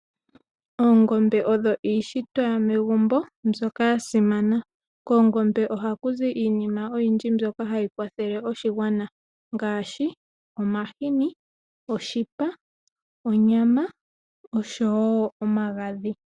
Oongombe odho iishitwa yo megumbo mbyoka ya simana. Koongombe ohaku zi iinima oyindji mbyoka hayi kwathele oshigwana ngaashi omahini, oshipa, onyama oshowo omagadhi.